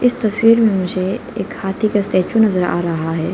तस्वीर में मुझे एक हाथी का स्टेचू नजर आ रहा है।